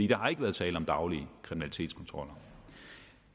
der har ikke været tale om daglige kriminalitetskontroller